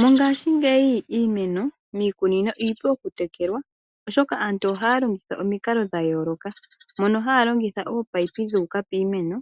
Mongaashingeyi iimeno miikunino iipu okutekelwa oshoka aantu ohaya longitha omikalo dha yooloka ngaashi okulongitha ominino ndhoka dhili piimeno